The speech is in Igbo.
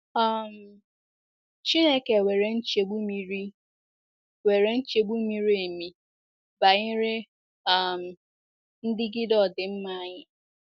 um Chineke nwere nchegbu miri nwere nchegbu miri emi banyere um ndigide ọdịmma anyị.